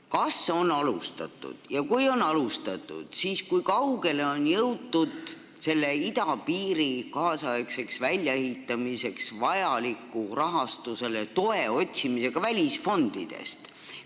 Kas on alustatud – ja kui on alustatud, siis kui kaugele on jõutud – idapiiri väljaehitamiseks vajaliku rahastuse toe otsimist välisfondidest?